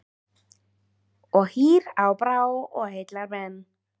Og hýr á brá og heillar menn.